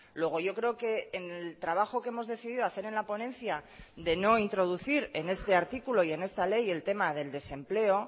luego yo creo que en el trabajo que hemos decidido hacer en la ponencia de no introducir en este artículo y en esta ley el tema del desempleo